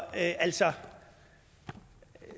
altså